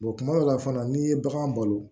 kuma dɔw la fana n'i ye bagan balo